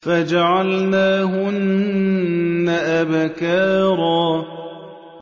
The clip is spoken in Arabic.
فَجَعَلْنَاهُنَّ أَبْكَارًا